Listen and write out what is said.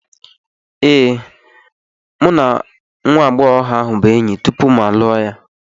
Ee, mụ na nwa agbọghọ ahụ bụ enyi tupu mụ alụọ ya.